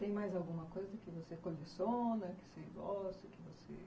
Tem mais alguma coisa que você coleciona, que você gosta, que você...